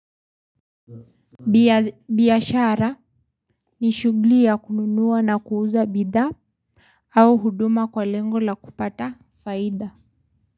Biyashara ni shugli ya kununuwa na kuuza bidha au huduma kwa lengo la kupata faida.